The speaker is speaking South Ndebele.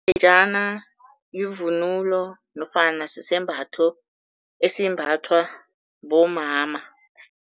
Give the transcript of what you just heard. Yivunulo nofana sisembatho esimbathwa bomama.